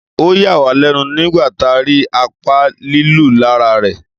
Ọ yà wá lẹ́nu nígbà tá rí apá lílu lára rè